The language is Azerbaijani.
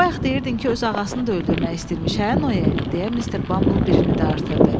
Bayaq deyirdin ki, öz ağasını da öldürmək istəyirmiş, hə Noye, deyə Mister Bamble birini də artırdı.